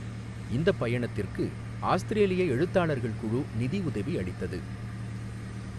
இந்தப் பயணத்திற்கு ஆஸ்திரேலிய எழுத்தாளர்கள் குழு நிதியுதவி அளித்தது.